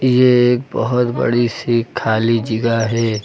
ये एक बहुत बड़ी सी खाली जगह है।